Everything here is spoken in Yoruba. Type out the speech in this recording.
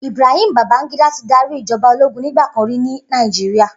Ibrahim Babangida ti dàrí ijòbá ólógún nigbàkán ri ni Nàijiriá